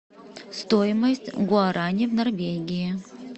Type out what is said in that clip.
стоимость гуарани в норвегии